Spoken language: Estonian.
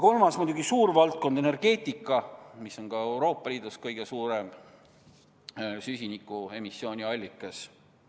Kolmas suur valdkond on muidugi energeetika, mis on Euroopa Liidus kõige suurem süsiniku emissiooni allikas.